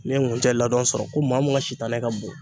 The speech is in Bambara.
N'i ye nkunjɛ ladɔn sɔrɔ ko maa mun ka sitanɛ ka bon